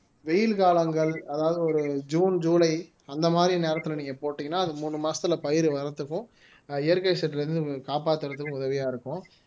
வெயில் காலங்கள் அதாவது ஒரு ஜூன் ஜூலை அந்த மாதிரி நேரத்துல நீங்க போட்டீங்கன்னா அது மூணு மாசத்துல பயிர் வர்றதுக்கும் இயற்கை சீற்றிலிருந்து காப்பாற்றுவதற்கும் உதவியா இருக்கும்